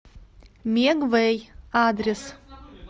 мегвэй адрес